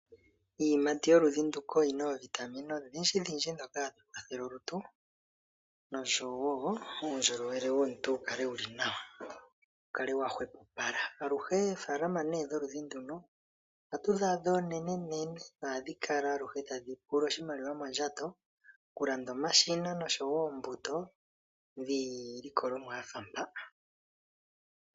Iiyimati yoludhi nduka oyina oovitamine odhindjidhindji dhoka hadhi kwathele olutu nosho woo uundjolowele womuntu wukale wuli nawa wukale wahwepopala. Aluhe oofalama ne dholudhi nduno ohadhi kala oonenenene ohadhi kala aluhe tadhi pula oshimaliwa mondjato okulanda omashina oshowo oombuto dhiilikolomwa yafa mpaa.